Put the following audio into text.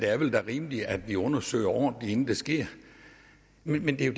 er rimeligt at vi undersøger ordentligt inden det sker men det er